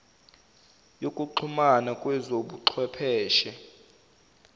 yokuxhumana kwezobu chwepheshe